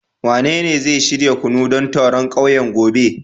Wanene zai shirya kunu don taron kauye gobe